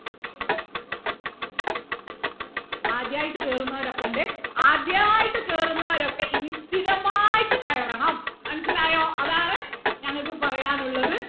ആദ്യായിട്ട് കേറുന്നോരൊക്കെ ഉണ്ട് ആദ്യായിട്ട് കേറുന്നവരൊക്കെ ഇനി സ്ഥിരമായിട്ട് കയറണം മനസിലായോ അതാണ് ഞങ്ങൾക്ക് പറയാൻ ഉള്ളത്